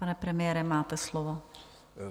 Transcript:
Pane premiére, máte slovo.